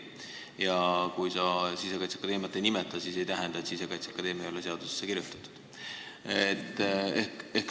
Ja kui sa Sisekaitseakadeemiat ei nimeta, siis see ei tähenda, et Sisekaitseakadeemia ei ole seadusesse kirjutatud.